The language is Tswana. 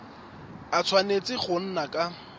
a tshwanetse go nna ka